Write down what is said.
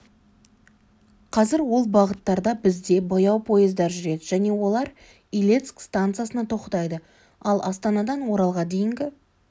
қазір ол бағыттарда бізде баяу поездар жүреді және олар илецк стансасына тоқтайды ал астанадан оралға дейінгі